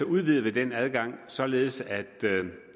udvider vi den adgang således at